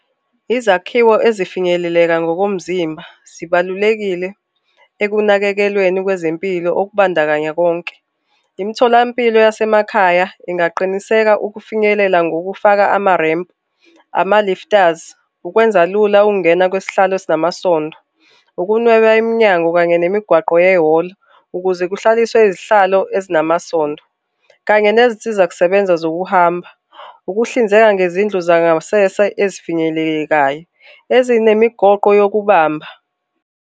Izakhiwo ezifinyeleleka ngokomzimba sibalulekile ekunakekelweni kwezempilo okubandakanya konke. Imtholampilo yasemakhaya ingaqiniseka ukufinyelela ngokufaka ama-ramp, ama-lifters, ukwenza lula ukungena kwesihlalo ezinamasondo. Ukunweba iminyango kanye nemigwaqo ye-hall ukuze kuhlaliswe izihlalo ezinamasondo kanye nezinsiza kusebenza zokuhamba. Ukuhlinzeka ngezindlu zangasese ezifinyelelekayo ezinemigoqo yokubamba.